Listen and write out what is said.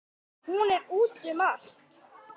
Hún er úti um allt.